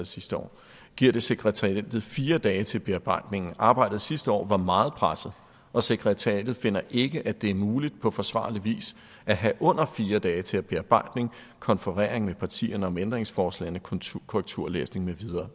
sidste år giver det sekretariatet fire dage til bearbejdningen arbejdet sidste år var meget presset og sekretariatet finder ikke at det er muligt på forsvarlig vis at have under fire dage til bearbejdning konferering med partierne om ændringsforslagene korrekturlæsning med videre